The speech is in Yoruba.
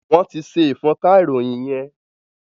Wọ́n ti ṣe ìfọ́nka ìròyìn yẹn.